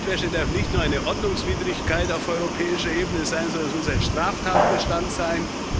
Geldwäsche darf nicht nur eine Ordnungswidrigkeit auf europäischer Ebene sein, sondern muss ein Straftatbestand sein.